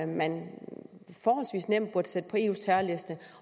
man forholdsvis nemt burde kunne sætte på eus terrorliste